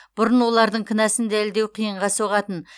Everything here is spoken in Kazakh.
бұрын олардың кінәсін дәлелдеу қиынға соғатын